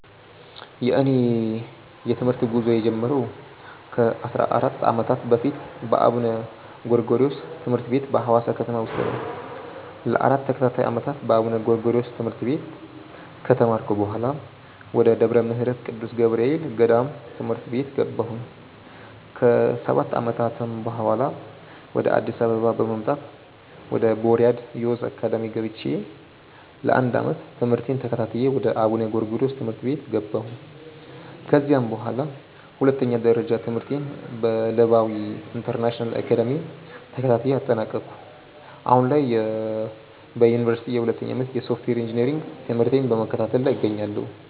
የእኔ የትምህርት ጉዞ የጀመረው ከ 14 ዓመታት በፊት በአቡነ ጎርጎሪዎስ ትምህርት ቤት በሀዋሳ ከተማ ውስጥ ነው። ለ 4 ተከታታይ ዓመታት በአቡነ ጎርጎሪዮስ ትምህርት ቤት ከተማርኩ በኃላ፣ ወደ ደብረ ምህረት ቅዱስ ገብርኤል ገዳም ትምህርት ቤት ገባሁ። ከ 7 ዓመታትም በኃላ፣ ወደ አዲስ አበባ በመምጣት ወደ ቦርያድ ዮዝ አካዳሚ ገብቼ ለ 1 ዓመት ትምህርቴን ተከታትዬ ወደ አቡነ ጎርጎሪዮስ ትምህርት ቤት ገባሁ። ከዚያም በኃላ ሁለተኛ ደረጃ ትምህርቴን በለባዊ ኢንተርናሽናል አካዳሚ ተከታትዬ አጠናቀኩ። አሁን ላይ በዮኒቨርሲቲ የሁለተኛ ዓመት የሶፍትዌር ኢንጂነሪንግ ትምህርቴን በመከታተል ላይ እገኛለሁ።